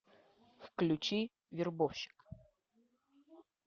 включи вербовщик